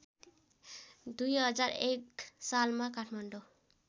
२००१ सालमा काठमाडौँ